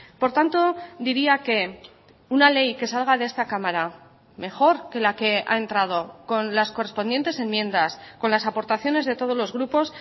por tanto diría que una ley que salga de esta cámara mejor que la que ha entrado con las correspondientes enmiendas con las aportaciones de todos los grupos